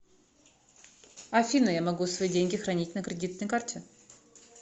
афина я могу свои деньги хранить на кредитной карте